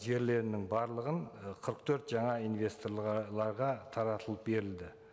жерлерінің барлығын ы қырық төрт жаңа инвестор таратылып берілді